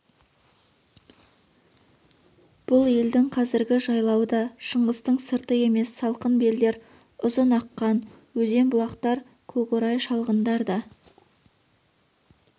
бұл елдің қазіргі жайлауы да шыңғыстың сырты емес салқын белдер ұзын аққан өзен-бұлақтар көкорай шалғындар да